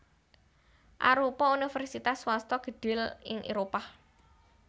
arupa universitas swasta gedhé ing Éropah